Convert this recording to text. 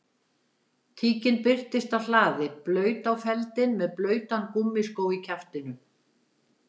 Tíkin birtist á hlaði blaut á feldinn með blautan gúmmískó í kjaftinum